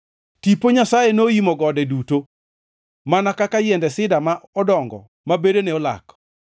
Tipo Nyasaye noimo gode duto, mana ka yiende sida ma odongo ma bedene olak.